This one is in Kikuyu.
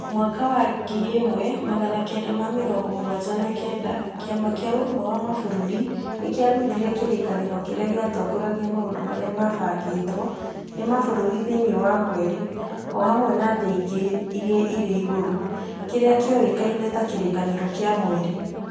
Mwaka-inĩ wa ngiri ĩmwe magana kenda ma mĩrongo mũgwanja ma kenda, Kĩama kĩa Ũrũmwe wa Mabũrũri nĩ kĩarutire kĩrĩkanĩro kĩrĩa gĩatongoragia maũndũ marĩa mabangĩtwo nĩ mabũrũri thĩinĩ wa mweri o hamwe na thĩ ingĩ iria irĩ igũrũ, kĩrĩa kĩoĩkaine ta Kĩrĩkanĩro kĩa Mweri